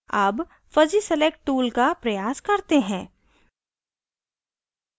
अब fuzzy select tool का प्रयास करते हैं